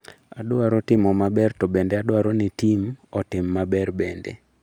Adwaro timo maber to bende adwaro ni tim otim maber bende